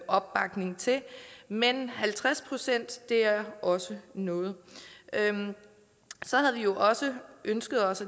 opbakning til men halvtreds procent er også noget så havde vi jo også ønsket os